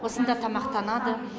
осында тамақтанады